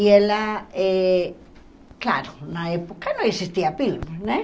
E ela, eh claro, na época não existia pílula, né?